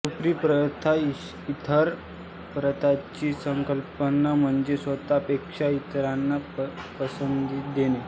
सुफीपंथात ईथर परार्थची संकल्पना म्हणजे स्वतः पेक्षा इतरांना पसंती देणे